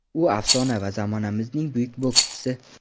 U afsona va zamonamizning buyuk bokschisi.